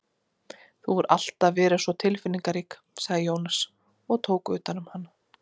Þú hefur alltaf verið svo tilfinningarík, sagði Jónsi og tók utan um hana.